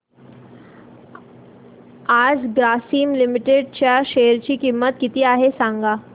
आज ग्रासीम लिमिटेड च्या शेअर ची किंमत किती आहे सांगा